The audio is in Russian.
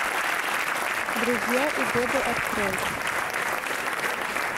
друзья и годы открой